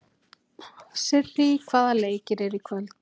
Sirrý, hvaða leikir eru í kvöld?